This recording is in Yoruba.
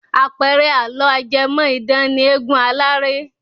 Àpẹẹrẹ àlọ́ ajẹ́mọ̀-idán ni eégun aláré.